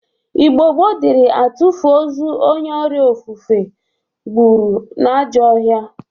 Igbo gboo dịri atụfụ ọzọ onye ọrịa ofufe gbụrụ n'ajọọ ọhịa.